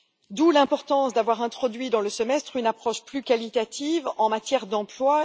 d'où l'importance d'avoir introduit dans le Semestre une approche plus qualitative en matière d'emploi.